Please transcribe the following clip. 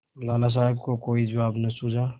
लाला साहब को कोई जवाब न सूझा